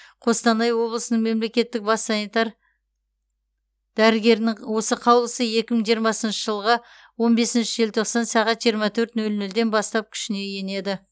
қостанай облысының мемлекеттік бас санитар дәрігерінің осы қаулысы екі мың жиырмасыншы жылғы он бесінші желтоқсан сағат жиырма төрт нөл нөлден бастап күшіне енеді